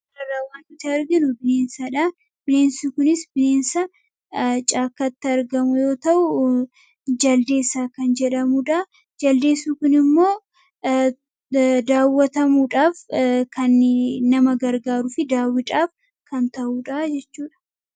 Kan arginu kun bineensaadha. bineensi kunis bineensa ''caakkaatti'' argamu yoo ta'uu jaldeessa kan jedhamuudha. Jaldeessi kun immoo daawwatamuudhaaf kan nama gargaaruu fi daawwiidhaaf kan ta'uudha jechuudha.